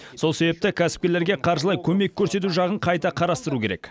сол себепті кәсіпкерлерге қаржылай көмек көрсету жағын қайта қарастыру керек